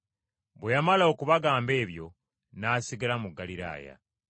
Bwe yamala okubagamba ebyo n’asigala mu Ggaliraaya.